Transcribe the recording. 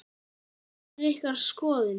Hver er ykkar skoðun?